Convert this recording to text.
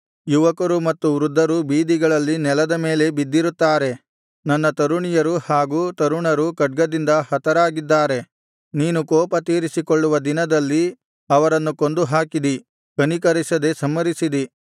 ಯುವಕರು ಮತ್ತು ವೃದ್ಧರು ಬೀದಿಗಳಲ್ಲಿ ನೆಲದ ಮೇಲೆ ಬಿದ್ದಿರುತ್ತಾರೆ ನನ್ನ ತರುಣಿಯರು ಹಾಗು ತರುಣರು ಖಡ್ಗದಿಂದ ಹತರಾಗಿದ್ದಾರೆ ನೀನು ಕೋಪತೀರಿಸಿಕೊಳ್ಳುವ ದಿನದಲ್ಲಿ ಅವರನ್ನು ಕೊಂದುಹಾಕಿದಿ ಕನಿಕರಿಸದೆ ಸಂಹರಿಸಿದಿ